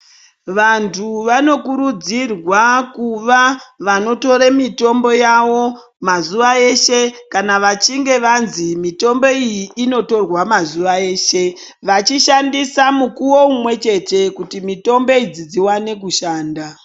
Vantu vanokurudzirwa kuva vanotore mitombo yavo mazuwa eshe kana vachinga vanzi mitombo iyi inotorwa mazuwa eshe vachishandisa mukuwo umwechete kuti mutombo idzi dziwane kushanda.